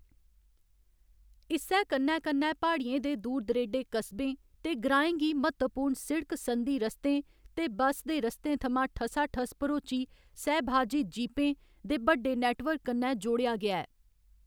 इस्सै कन्नै कन्नै प्हाड़ियें दे दूर दरेडे कस्बें ते ग्राएं गी म्हत्तवपूर्ण सिड़क संधी रस्तें ते बस दे रस्तें थमां ठसाठस भरोची सहभाजित जीपें दे बड्डे नेटवर्क कन्नै जोड़ेआ गेआ ऐ।